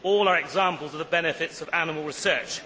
All are examples of the benefits of animal research.